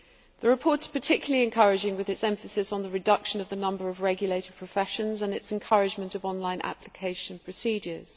The report is particularly encouraging with its emphasis on the reduction of the number of regulated professions and its encouragement of online application procedures.